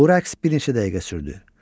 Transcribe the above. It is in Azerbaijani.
Bu rəqs bir neçə dəqiqə sürdü.